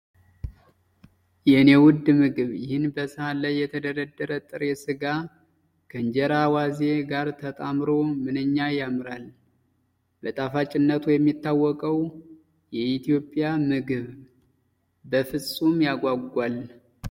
የኔ ውድ ምግብ! ይህ በሰሃን ላይ የተደረደረ ጥሬ ስጋ ከእንጀራና አዋዜ ጋር ተጣምሮ ምንኛ ያምራል! በጣፋጭነቱ የሚታወቀው የኢትዮጵያ ምግብ! በፍጹም ያጓጓል!